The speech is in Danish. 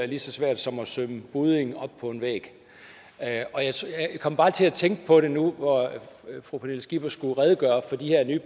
lige så svært som at sømme budding op på en væg jeg kom bare til at tænke på det nu hvor fru pernille skipper skulle redegøre for de her nye